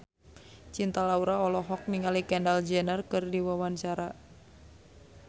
Cinta Laura olohok ningali Kendall Jenner keur diwawancara